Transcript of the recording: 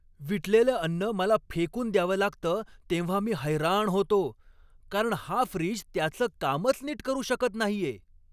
विटलेलं अन्न मला फेकून द्यावं लागतं तेव्हा मी हैराण होतो, कारण हा फ्रीज त्याचं कामच नीट करू शकत नाहीये!